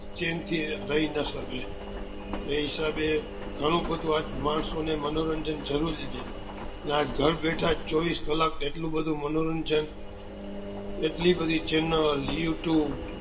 chain થી રઈ નાં શકે એ હિસાબે ગણું બધું આજ માણસો ને મનોરંજન જરૂરી છે આજ ઘર બેઠા ચોવીસ કલાક એટલું બધું મનોરંજન એટલી બધી channel live to